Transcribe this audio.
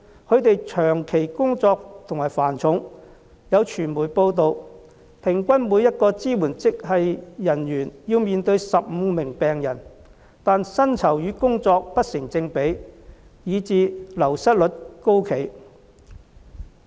他們長期工作繁重，有傳媒報道，平均每一位支援職系人員要面對15名病人，但薪酬與工作不成正比，以致流失率高企。